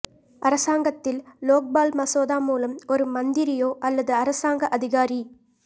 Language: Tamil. அரசாங்கத்தில் லோக்பால் மசோதா மூலம் ஒரு மந்திரியோ அல்லது அரசாங்க அதிகாரி